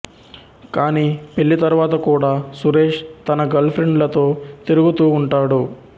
కాని పెళ్ళి తరువాత కూడా సురేష్ తన గర్ల్ ఫ్రెండులతో తిరుగుతూ ఉంటాడు